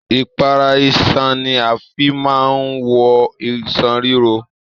Ipara iṣan ní a fí máa n wọ iṣan riro.